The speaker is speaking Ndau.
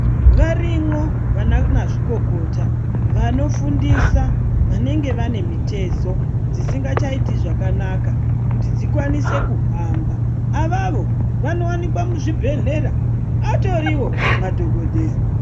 Varimwo vanamazvikokota vanofundisa vanenge vanemutezo dzisingachaiti zvakanaka kuti dzikwanise kuhamba avavo vanowanikwa muzvibhedhlera atoriwo madhokodheya.